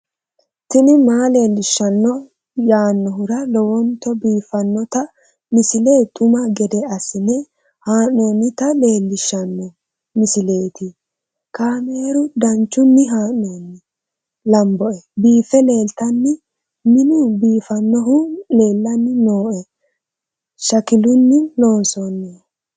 tini maa leelishshanno yaannohura lowonta biiffanota misile xuma gede assine haa'noonnita leellishshanno misileeti kaameru danchunni haa'noonni lamboe biiffe leeeltanno minu biifannohu leellanni nooe shakilunni loonsoonnihu